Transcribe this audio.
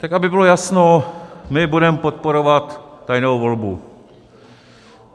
Tak aby bylo jasno, my budeme podporovat tajnou volbu.